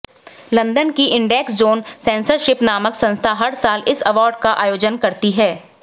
London की index on censorship नामक संस्था हर साल इस अवार्ड का आयोजन करती है